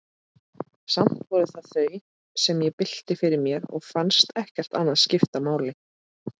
Samt voru það þau, sem ég bylti fyrir mér, og fannst ekkert annað skipta máli.